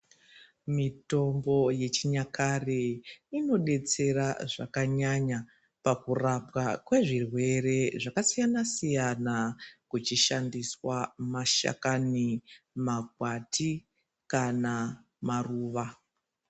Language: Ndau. Mitombo yechinyakare inodetsera zvakanyanya pakurapwa kwezvirwere zvakasiyana-siyana kuxhishandisaa mashakani mgwati kana maruva.